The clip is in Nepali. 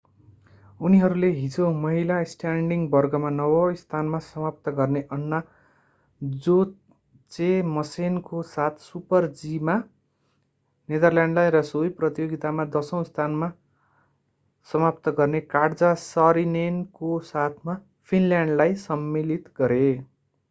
उनीहरूले हिजो महिला स्ट्यान्डिङ वर्गमा नवौँ स्थानमा समाप्त गर्ने अन्ना जोचेमसेनको साथ सुपर-जीमा नेदरल्यान्डलाई र सोही प्रतियोगितामा दशौँ स्थानमा समाप्त गर्ने काट्जा सरिनेनको साथमा फिनल्यान्डलाई सम्मिलित गरे